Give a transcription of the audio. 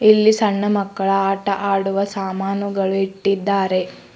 ಇಲ್ಲಿ ಸಣ್ಣ ಮಕ್ಕಳ ಆಟವಾಡುವ ಸಾಮಾನುಗಳನ್ನು ಇಟ್ಟಿದ್ದಾರೆ.